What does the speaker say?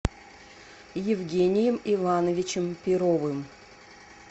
евгением ивановичем перовым